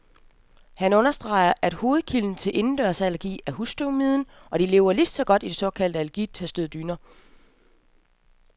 Han understreger, at hovedkilden til indendørsallergi er husstøvmiden, og de lever lige så godt i de såkaldt allergitestede dyner.